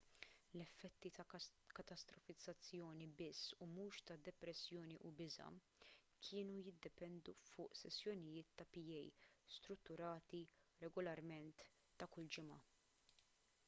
l-effetti ta' katastrofizzazzjoni biss u mhux ta' depressjoni u biża' kienu jiddependu fuq sessjonijiet ta' pa strutturati regolarment ta' kull ġimgħa